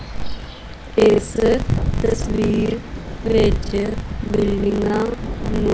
ਇਸ ਤਸਵੀਰ ਵਿੱਚ ਬਿਲਡਿੰਗਾਂ ਨੂ--